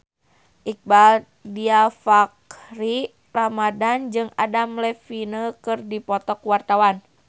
Iqbaal Dhiafakhri Ramadhan jeung Adam Levine keur dipoto ku wartawan